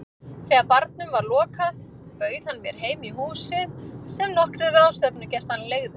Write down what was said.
Þegar barnum var lokað bauð hann mér heim í húsið sem nokkrir ráðstefnugestanna leigðu.